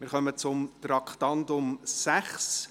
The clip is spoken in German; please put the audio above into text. Wir kommen zum Traktandum 6: